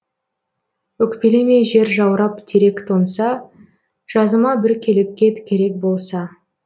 өкпелеме жер жаурап терек тоңса жазыма бір келіп кет керек болса